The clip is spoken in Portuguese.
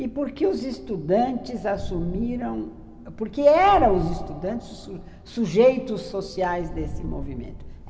E por que os estudantes assumiram... Por que eram os estudantes os sujeitos sociais desse movimento?